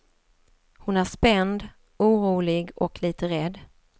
Hon är spänd, orolig och lite rädd.